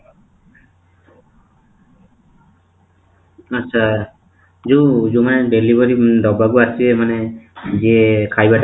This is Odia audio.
ଆଚ୍ଛା, ଯୋଉମାନେ delivery ଦେବାକୁ ଆସିବେ ମାନେ ଯିଏ ଖାଇବାଟା